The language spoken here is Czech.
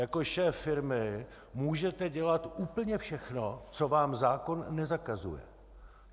Jako šéf firmy můžete dělat úplně všechno, co vám zákon nezakazuje.